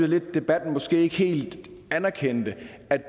lidt at debatten måske ikke helt anerkendte